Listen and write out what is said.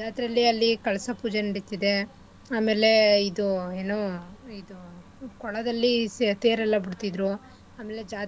ಜಾತ್ರೆಲಿ ಅಲ್ಲಿ ಕಳಸ ಪೂಜೆ ನಡಿತದೆ ಆಮೇಲೆ ಇದು ಎನೂ ಇದು ಕೊಳದಲ್ಲಿ ಸ ತೇರ್ ಎಲ್ಲಾ ಬಿಡ್ತಿದ್ರು ಆಮೇಲೆ ಜಾತ್ರೆ.